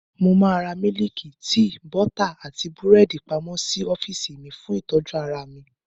Mo máa ra mílíìkì, tíì, bọ́tà, àti búrẹ́dì pamọ́ sí ọ́fíìsì mi, fún ìtọ́jú ara mi.